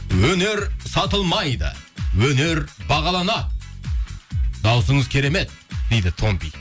өнер сатылмайды өнер бағаланады дауысыңыз керемет дейді томпи